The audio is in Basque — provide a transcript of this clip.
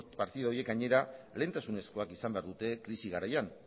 partida horiek gainera lehentasunezkoak izan behar dute krisi garaian